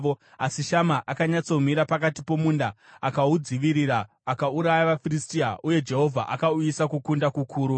Asi Shama akanyatsomira pakati pomunda. Akaudzivirira akauraya vaFiristia, uye Jehovha akauyisa kukunda kukuru.